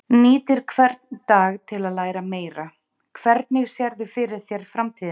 Nýtir hvern dag til að læra meira Hvernig sérðu fyrir þér framtíðina?